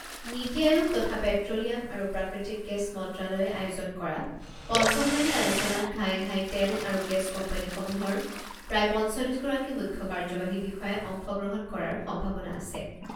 নীতি আয়োগ তথা পেট্ৰোলিয়াম আৰু প্ৰাকৃতিক গেছ মন্ত্ৰালয়ে আয়োজন কৰা পঞ্চমলানি আলোচনাত ঘাই ঘাই তেল আৰু গেছ কোম্পানীসমূহৰ প্ৰায় পঞ্চল্লিছ গৰাকী মুখ্য কাৰ্যবাহী বিষয়াই অংশগ্ৰহণ কৰাৰ সম্ভাৱনা আছে।